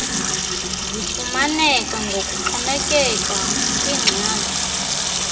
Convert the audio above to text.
zifumaneka ngokuxhomekeka kwingxaki